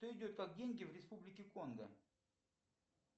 что идет как деньги в республике конго